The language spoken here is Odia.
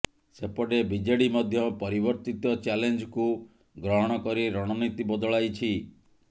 ସେପଟେ ବିଜେଡି ମଧ୍ୟ ପରିବର୍ତ୍ତିତ ଚ୍ୟାଲେଞ୍ଜକୁ ଗ୍ରହଣ କରି ରଣନୀତି ବଦଳାଇଛି